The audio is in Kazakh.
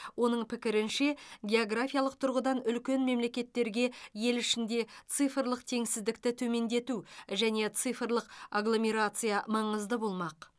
оның пікірінше географиялық тұрғыдан үлкен мемлекеттерге ел ішінде цифрлық теңсіздікті төмендету және цифрлық агломерация маңызды болмақ